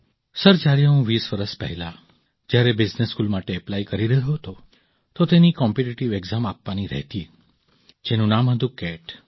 sir જ્યારે હું વીસ વર્ષ પહેલાં જ્યારે બિઝનેસ સ્કૂલ માટે એપ્લાય કરી રહ્યો હતો તો તેની કમ્પિટિટિવ ઍક્ઝામ આપવાની રહેતી જેનું નામ હતું કેટ